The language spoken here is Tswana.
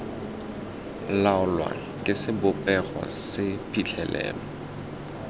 laolwa ke sebopego se phitlhelelo